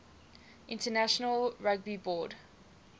international rugby board